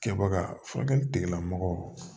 Kɛbaga furakɛli tigilamɔgɔw